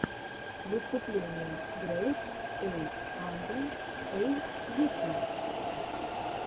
выступление грэйд эй анде эй ютюб